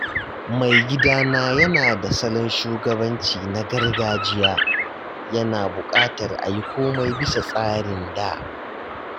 Maigidana yana da salon shugabanci na gargajiya, yana buƙatar a yi komai bisa tsarin da.